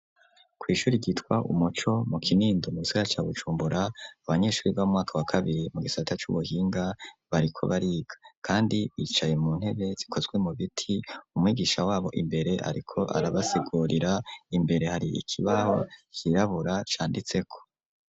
Kwi'ishuri ryitwa umuco mu Kinindo mugisagara ca Bujumbura abanyeshuri bo mumwaka wa kabiri mu gisata c'ubuhinga bariko bariga kandi wicaye mu ntebe zikozwe mu biti umwigisha wabo imbere ariko arabasigurira imbere hari ikibaho kirabura canditseko.